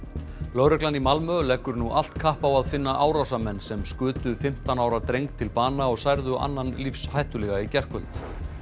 lögreglan í Malmö leggur nú allt kapp á að finna árásarmenn sem skutu fimmtán ára dreng til bana og særðu annan lífshættulega í gærkvöld